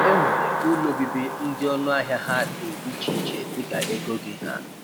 E nwere ụlọ obibi ndị ọnụ ahịa ha dị iche iche dịka ego gị ha.